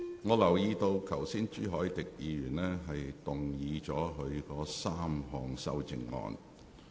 我留意到朱凱廸議員剛才動議了他的3項修正案。